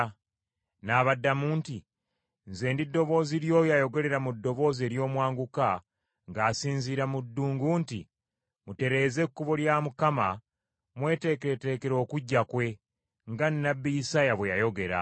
N’abaddamu nti, “Nze ndi ddoboozi ly’oyo ayogerera mu ddoboozi ery’omwanguka ng’asinziira mu ddungu nti, ‘Mutereeze ekkubo lya Mukama mweteekereteekere okujja kwe, nga nnabbi Isaaya bwe yayogera.’ ”